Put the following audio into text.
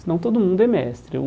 Senão todo mundo é mestre ou.